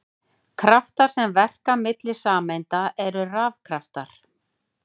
Kraftar sem verka milli sameinda eru rafkraftar.